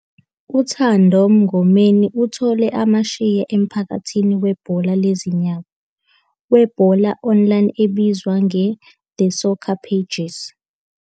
UThando Mngomeni uthole amasheya emphakathini webhola lezinyawo, webhola online obizwa ngeTheSoccerPages.